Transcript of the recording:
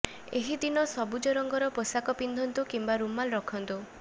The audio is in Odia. ଏହି ଦିନ ସବୁଜ ରଙ୍ଗର ପୋଷାକ ପିନ୍ଧନ୍ତୁ କିମ୍ବା ରୁମାଲ ରଖନ୍ତୁ